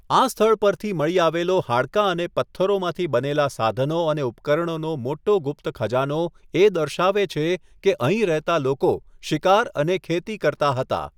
આ સ્થળ પરથી મળી આવેલો હાડકાં અને પથ્થરોમાંથી બનેલા સાધનો અને ઉપકરણોનો મોટો ગુપ્ત ખજાનો એ દર્શાવે છે કે અહીં રહેતા લોકો શિકાર અને ખેતી કરતા હતા.